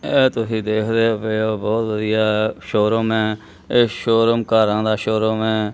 ਐ ਤੁਸੀਂ ਦੇਖਦੇ ਹੋ ਇਹ ਬਹੁਤ ਵਧੀਆ ਸ਼ੋਰੂਮ ਏ ਇਹ ਸ਼ੋਰੂਮ ਕਾਰਾਂ ਦਾ ਸ਼ੋਰੂਮ ਏ।